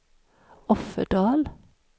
Offerdal